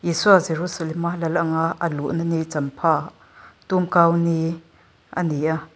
isua jerusalem a lal ang a luhna ni champha tumkau ni ani a.